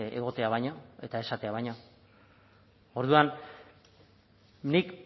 egotea baino eta esatea baino orduan nik